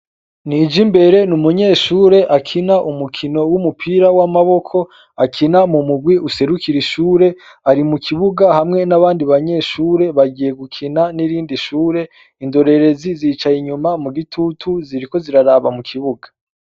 Nijimbere ni umunyeshure akina umukino w'umupira w'amaboko akina mu mugwi userukira ishure ari mu kibuga hamwe n'abandi banyeshure bagiye gukina n'irindi shure indorerezi zicaye inyuma mu gitutu ziriko ziraraba mu kibuga.